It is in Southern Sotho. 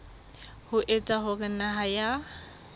ho etsa hore naha ya